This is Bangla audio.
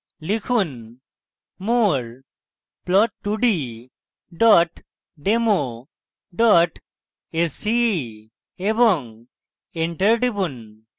লিখুন more plot2d demo dem sce এবং enter টিপুন